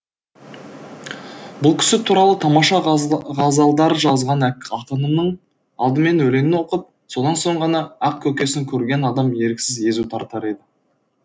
бұл кісі туралы тамаша ғазалдар жазған ақынымның алдымен өлеңін оқып содан соң ғана ақ көкесін көрген адам еріксіз езу тартар еді